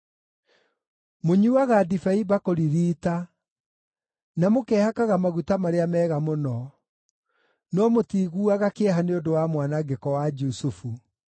Mũnyuuaga ndibei mbakũri riita, na mũkehakaga maguta marĩa mega mũno, no mũtiiguaga kĩeha nĩ ũndũ wa mwanangĩko wa Jusufu.